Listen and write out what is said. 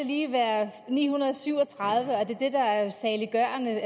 lige være 937 er det det der er saliggørende